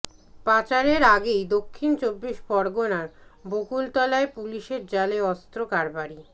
পাচারের আগেই দক্ষিণ চব্বিশ পরগনার বকুলতলায় পুলিশের জালে অস্ত্র কারবারি